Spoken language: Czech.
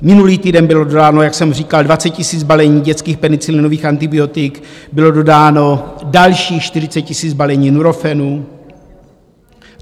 Minulý týden bylo dodáno, jak jsem říkal, 20 000 balení dětských penicilinových antibiotik, bylo dodáno dalších 40 000 balení Nurofenu.